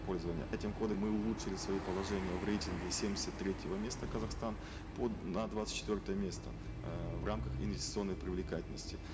пользования этим мы улучшили свои положения в рейтинге семьдесят третьего места казахстан на двадцать четвертое место э в рамках инвестиционной привлекательности